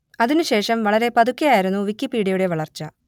അതിനു ശേഷം വളരെ പതുക്കെ ആയിരുന്നു വിക്കിപീഡിയയുടെ വളർച്ച